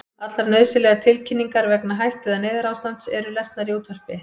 Allar nauðsynlegar tilkynningar vegna hættu- eða neyðarástands eru lesnar í útvarpi.